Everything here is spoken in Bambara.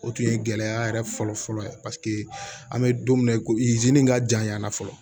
O tun ye gɛlɛya yɛrɛ fɔlɔfɔlɔ ye paseke an bɛ don min na i ko izini ka janyana fɔlɔ